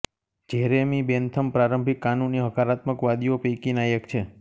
Jeremy Bentham પ્રારંભિક કાનૂની હકારાત્મકવાદીઓ પૈકીના એક છે